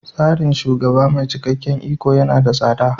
Tsarin shugaba mai cikakken iko yana da tsada.